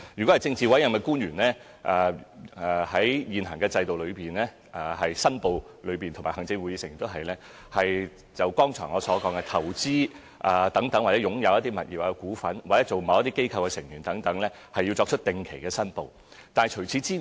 至於政治委任官員和行政會議成員，正如我剛才所說，在現行申報制度下，對於投資、擁有的物業和股份，或任職某些機構的成員等，他們均要作出定期申報。